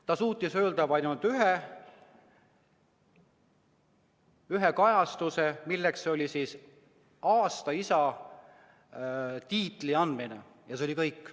Ta suutis öelda ainult ühe kajastuse, milleks oli aasta isa tiitli andmine, ja see oli kõik.